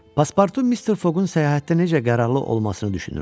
Paspartu Mister Foqqun səyahətdə necə qərarlı olmasını düşünürdü.